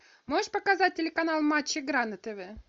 можешь показать телеканал матч игра на тв